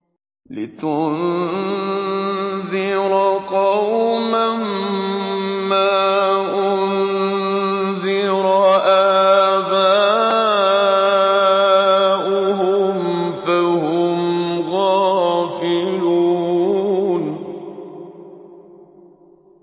لِتُنذِرَ قَوْمًا مَّا أُنذِرَ آبَاؤُهُمْ فَهُمْ غَافِلُونَ